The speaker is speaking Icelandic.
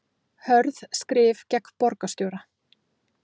Hörð skrif gegn borgarstjóra